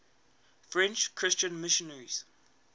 french christian missionaries